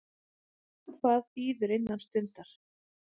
Hvað bíður sinnar stundar.